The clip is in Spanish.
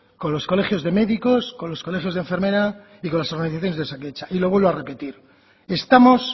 con los colegios de médicos con los colegios de enfermera y con las organizaciones de osakidetza y lo vuelvo a repetir estamos